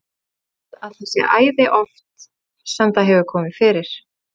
Ég held að það sé æði oft sem það hefur komið fyrir.